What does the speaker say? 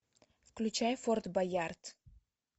включай форт баярд